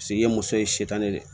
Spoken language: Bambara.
ye muso ye setan de